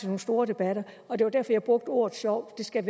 nogle store debatter det var derfor jeg brugte ordet sjov det skal